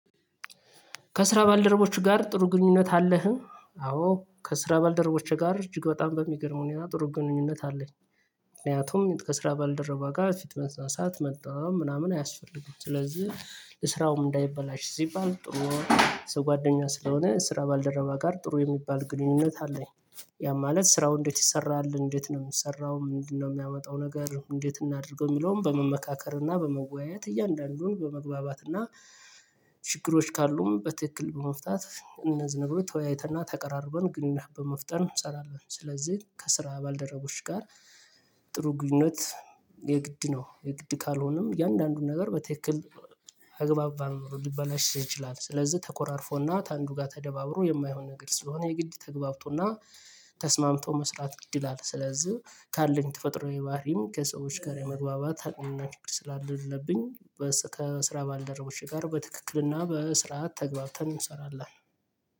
ከስራ ባልደረቦች ጋር ጥሩ ግንኙነት አለህ አዎ ከስራ ባልደረቦቼ ጋር እጅግ በጣም በሚገርም ሁኔታ ጥሩ ግንኙነት አለኝ። ምክንያቱም ከስራ ባልደረባ ጋር ፊት መንሳት መጣ ምናምን አያስፈልገውም ስለዚህ ስራውም እንዳይበላሽ ሲባል ጥሩ ጓደኛ ስለሆነ ስራ ባልደረባ ጋር ጥሩ የሚባል ግንኙነት አለኝ። ያ ማለት ስራው እንዴት ይሰራል እንዴት ነው የምሰራው ምንድነው የሚያመጣው ነገር እንዴት እናድርገው? የሚለውን በመመካከር እና በመወያየት እያንዳንዱን በመግባባት እና ችግሮች ካሉም በትክክል በመፍታት እነዚህ ነገሮች ተወያይተን ና ተቀራርበን ግንኙነት በመፍጠር እንሰራለን። ስለዚህ ከስራ ባልደረቦች ጋር ጥሩ ግንኙነት የግድ ነው። የግድ ካልሆነም እያንዳንዱን ነገር በትክክል አግባብ ባለመኖሩ ሊበላሽ ይችላል። ስለዚህ ተኮራርፎና ከአንዱ ጋር ተደባብሮ የማይሆን ነገር ስለሆነ የግድ ተገብቶና ተስማምቶ መስራት ግድ ይላል። ስለዚህ ካለኝ ተፈጥሮኝ ባህሪም ከሰዎች ጋር የመግባባት አቅም ና ችግር ስላለብኝ ከስራ ባልደረቦቼ ጋር በትክክልና በስርዓት ተግባብተን እንሰራለን።